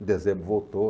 Em dezembro voltou.